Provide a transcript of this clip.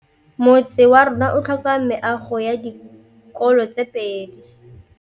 Motse warona o tlhoka meago ya dikolô tse pedi.